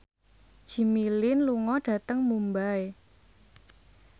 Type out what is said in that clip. Jimmy Lin lunga dhateng Mumbai